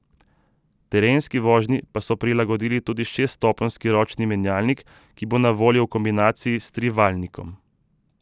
Terenski vožnji so prilagodili tudi šeststopenjski ročni menjalnik, ki bo na voljo v kombinaciji s trivaljnikom.